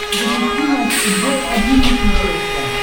запусти матч футбол один на смотрешке